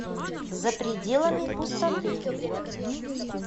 за пределами пустоты